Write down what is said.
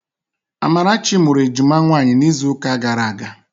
Amarachi mụrụ ejima nwaanyị n'izuụka gara aga